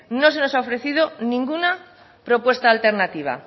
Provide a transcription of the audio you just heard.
no se nos ha ofrecido ninguna propuesta alternativa